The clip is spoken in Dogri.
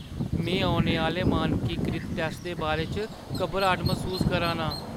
में औने आह्‌ले मानकीकृत टैस्ट दे बारे च घबराट मसूस करा ना आं।